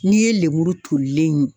N'i ye lemuru tolilen ye